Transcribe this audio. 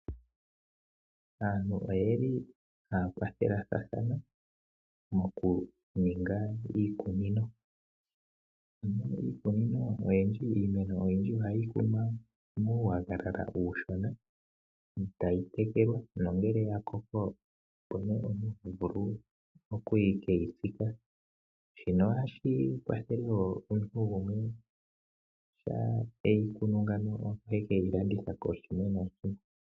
Aantu oye li haya kwathelathana mokuninga iikunino. Miikunino iimeno oyindji ohayi kunwa muunayilona uushona, tayi tekelwa nongele ya koko, opo nduno omuntu ho vulu oku ke yi tsika. Shino ohashi kwathele wo omuntu gumwe shampa eyi kunu ngawo ohe ke yi landitha kooshimwe nooshimwe.